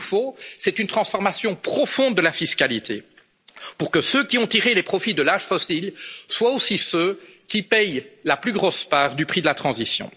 juste. Ce qu'il nous faut, c'est une transformation profonde de la fiscalité, pour que ceux qui ont tiré les profits de l'âge fossile soient aussi ceux qui paient la plus grosse part du prix de la transition.